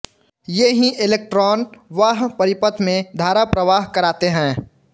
ये ही एलेक्ट्रान वाह्य परिपथ में धारा प्रवाह कराते हैं